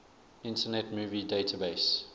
internet movie database